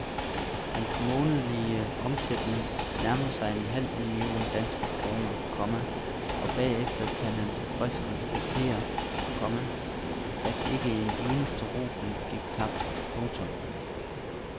Hans månedlige omsætning nærmer sig en halv million danske kroner, komma og bagefter kan han tilfreds konstatere, komma at ikke en eneste rubel gik tabt. punktum